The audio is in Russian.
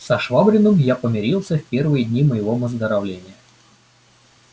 со швабриным я помирился в первые дни моего выздоровления